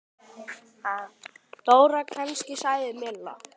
Dóra kannski? sagði Milla.